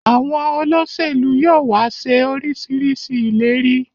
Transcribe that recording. Àwọn Olóṣèlú yóò wá ṣe orisirisii ìlérí